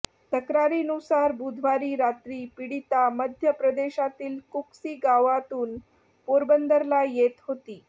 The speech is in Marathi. तक्रारीनुसार बुधवारी रात्री पीडिता मध्य प्रदेशातील कुक्सी गावातून पोरबंदरला येत होती